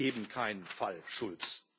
Es gibt eben keinen Fall Schulz.